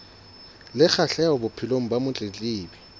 le kgahleho bophelong ba motletlebi